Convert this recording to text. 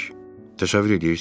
Təşəvvür eləyirsiz?